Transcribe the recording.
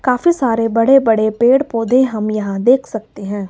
काफी सारे बड़े बड़े पेड़ पौधे हम यहां देख सकते हैं।